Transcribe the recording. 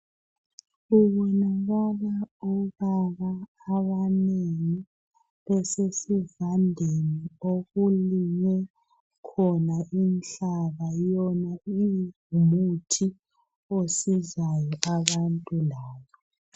Kubonakala obaba abanengi besesivandeni okulinywe khona inhlaba. Yona ingumuthi osizayo abantu labo.